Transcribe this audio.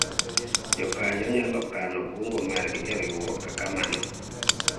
Jokanyo nyalo kano kungo margi e riwruok kaka mano